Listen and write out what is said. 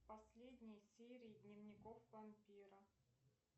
последние серии дневников вампира